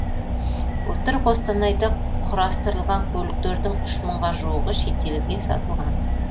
былтыр қостанайда құрастырылған көліктердің үш мыңға жуығы шетелдерге сатылған